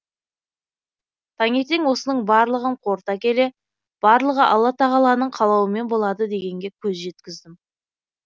таңертең осының барлығын қорыта келе барлығы алла тағаланың қалауымен болады дегенге көз жеткіздім